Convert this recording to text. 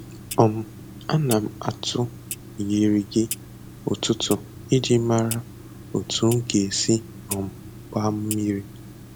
um Ana m atụ igirigi ụtụtụ iji mara otu m ga-esi um gbaa mmiri.